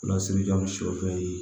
Lasirijan sɔ fɛn ye